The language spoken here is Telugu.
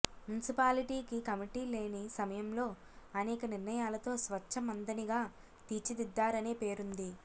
మున్సిపాలిటీకి కమిటీ లేని సమయంలో అనేక నిర్ణయాలతో స్వచ్ఛ మంథనిగా తీర్చిదిద్దారనే పేరుంది